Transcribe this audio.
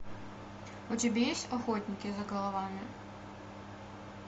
у тебя есть охотники за головами